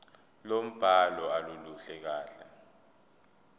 lombhalo aluluhle kahle